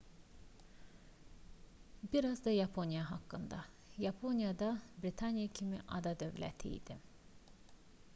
bir az da yaponiya haqqında yaponiya da britaniya kimi ada dövləti idi